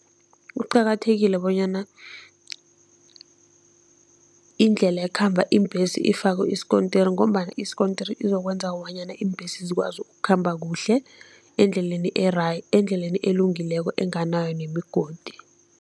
Kuqakathekile bonyana indlela ekhamba iimbhesi ifakwe isikontiri ngombana isikontiri izokwenza bonyana iimbhesi zikwazi ukukhamba kuhle endleleni endleleni elungileko, enganayo nemigodi.